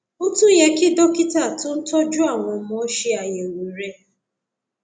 ó tún yẹ kí dókítà tó ń tọjú àwọn ọmọ ṣe àyẹwò rẹ